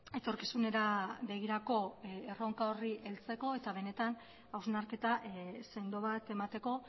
etorkizunera begirako erronka horri heltzeko eta benetan hausnarketa sendo bat emateko